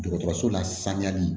Dɔgɔtɔrɔso la saniyali